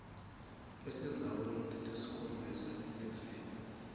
etindzaweni letisikhombisa eliveni